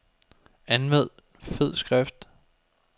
Anvend fed skrift.